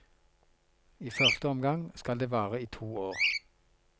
I første omgang skal det vare i to år.